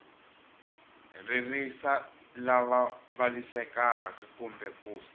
ririsa lava vavisekaka kumbe ku